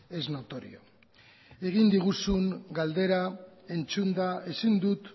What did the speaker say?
es notorio egin diguzun galdera entzunda ezin dut